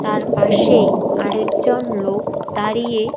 তার পাশেই আরেকজন লোক দাঁড়িয়ে--